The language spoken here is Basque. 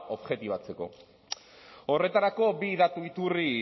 objektibatzeko horretarako bi datu iturri